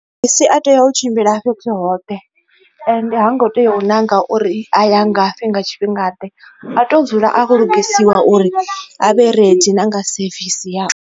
Mabisi a tea u tshimbila fhethu hoṱhe ende ha ngo tea u nanga uri a ya ngafhi nga tshifhinga ḓe a to dzula a khou lugisiwa uri avhe ready na nga sevisi yao.